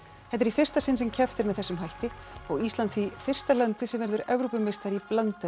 þetta er í fyrsta sinn sem keppt er með þessum hætti og Ísland því fyrsta landið sem verður Evrópumeistari í blandaðri